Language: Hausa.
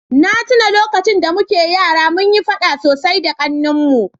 na tuna lokacin da muke yara munyi faɗa sosai da ƙannena